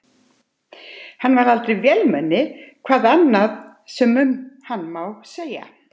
Hann var aldrei vélmenni, hvað annað sem um hann mátti segja.